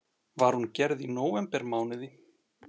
Var hún gerð í nóvembermánuði